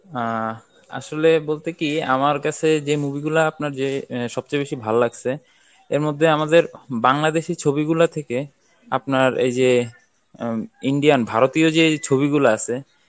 আহ আসলে বলতে কি আমার কাছে যে movie গুলা আপনার যে আহ সবচেয়ে বেশি ভালো লাগছে এর মধ্যে আমাদের বাংলাদেশী ছবি গুলা থেকে আপনার এই যে উম Indian ভারতীয় যেই ছবি গুলা আছে